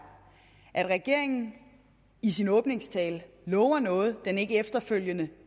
at regeringen i sin åbningstale lover noget den ikke efterfølgende